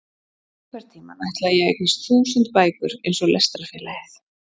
Einhvern tímann ætlaði ég að eignast þúsund bækur eins og Lestrarfélagið.